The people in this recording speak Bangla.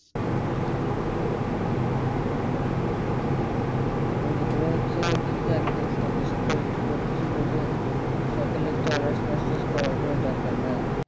ওই যে তোমার হচ্ছে কিছুদিন আগে দেখছিলাম শিক্ষা মন্ত্রী বলতে ছিল যে সকলের তো honours masters করার কোন দরকার নাই